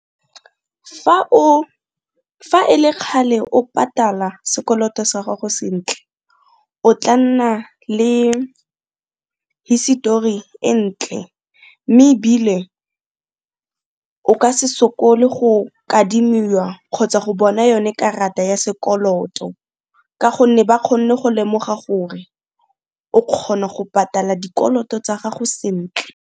Fa e le kgale o patala sekoloto sa gago sentle o tla nna le hisetori e ntle, mme ebile o ka se sokolo go kadimiwa kgotsa go bona yone karata ya sekoloto ka gonne ba kgonne go lemoga gore o kgona go patala dikoloto tsa gago sentle.